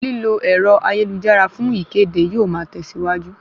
Lílo ẹ̀rọ ayélujára fún ìkéde yóò ma tẹ̀síwájú